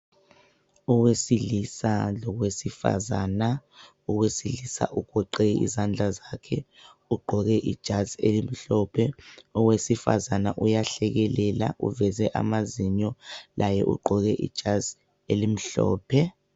Owesilisa lowesifazana, owesilisa ugoqe izandla zakhe ugqoke ijazi elimhlophe owesifazana uyahlekelela uveze amazinyo laye ugqoke ijazi elimhlophe.